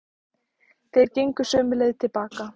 Þeir gengu sömu leið til baka.